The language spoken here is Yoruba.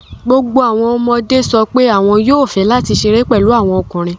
Gbogbo àwọn ọmọdé sọ pé àwọn yóò fẹ́ láti ṣeré pẹ̀lú àwọn ọmọkùnrin